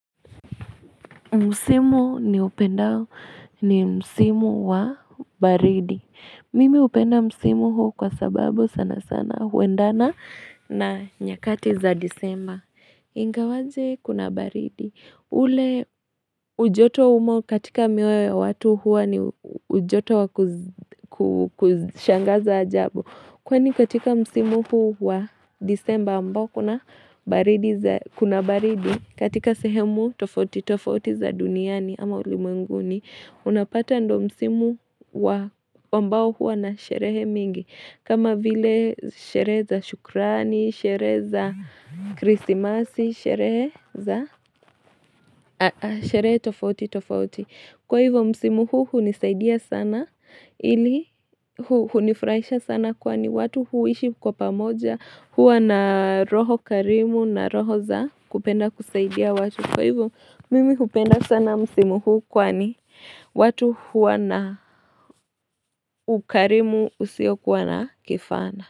Musimu ni upendao ni musimu wa baridi. Mimi upenda musimu huu kwa sababu sana sana huendana na nyakati za disemba. Ingawaje kuna baridi. Ule ujoto umo katika miwe wa watu hua ni ujoto wa kushangaza ajabu. Kwani katika msimu huu wa disemba ambao kuna baridi kuna baridi katika sehemu tofoti tofoti za duniani ama ulimunguni Unapata ndo msimu wa ambao huu anasherehe mingi kama vile sherehe za shukrani, sherehe za krisimasi, sherehe tofauti tofauti Kwa hivyo msimuhu hunisaidia sana ili hunifraisha sana kwani watu huishi kwa pamoja hua na roho karimu na roho za kupenda kusaidia watu. Kwa hivyo mimi hupenda sana msimuhu kwani watu hua na ukarimu usio kwa na kifana.